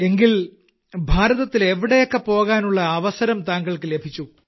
എങ്കിൽ ഭാരതത്തിൽ എവിടെയൊക്കെ പോകാനുള്ള അവസരം താങ്കൾക്കു ലഭിച്ചു